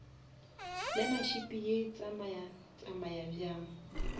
learnership ye tsamaya tsamaya bjang